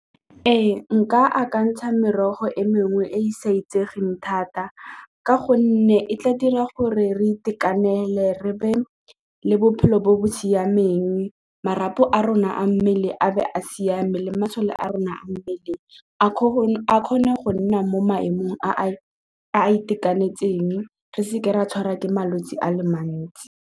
Ee, nka akantsha merogo e mengwe e e sa itsegeng thata ka gonne e tla dira gore re itekanele re be le bophelo bo bo siameng marapo a rona a mmele a be a siame le masole a rona a mmele a kgone go nna mo maemong a a itekanetseng re seke ra tshwarwa ke malwetse a le mantsi.